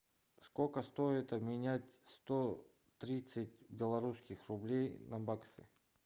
сколько стоит обменять сто тридцать белорусских рублей на баксы